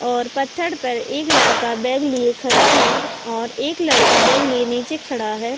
और पत्थर पर एक लड़का बैग लिए खड़ा है और एक लड़का बैग लिए नीचे खड़ा है।